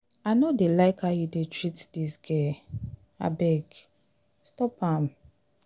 i no dey like how you dey treat dis girl abeg stop am